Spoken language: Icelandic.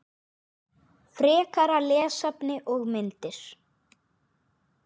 Frekara lesefni og myndir